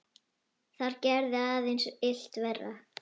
Það gerði aðeins illt verra.